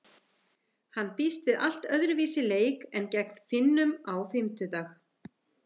Hann býst við allt öðruvísi leik en gegn Finnum á fimmtudag.